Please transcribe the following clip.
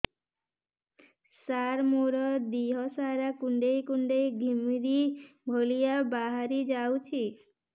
ସାର ମୋର ଦିହ ସାରା କୁଣ୍ଡେଇ କୁଣ୍ଡେଇ ଘିମିରି ଭଳିଆ ବାହାରି ଯାଉଛି